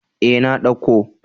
E, na dauko.